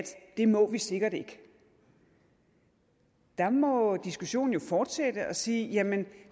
det må vi sikkert ikke der må diskussionen jo fortsætte og sige jamen